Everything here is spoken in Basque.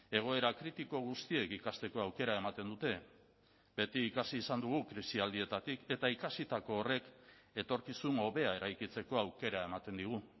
egoera kritiko guztiek ikasteko aukera ematen dute beti ikasi izan dugu krisialdietatik eta ikasitako horrek etorkizun hobea eraikitzeko aukera ematen digu